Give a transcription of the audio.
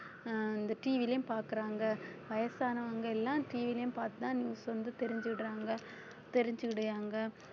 அஹ் இந்த TV லயும் பாக்குறாங்க வயசானவங்க எல்லாம் TV யிலயும் பாத்துதான் news வந்து தெரிஞ்சுடுறாங்க தெரிஞ்சுவிடுறாங்க